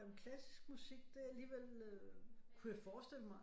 Jamen klassisk musik det er alligevel øh kunne jeg forestille mig